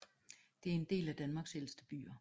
Det er en af Danmarks ældste byer